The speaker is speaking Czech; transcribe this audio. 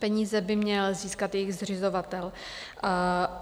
Peníze by měl získat jejich zřizovatel.